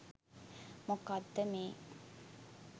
මොකද්ද මේ